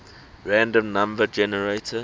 random number generator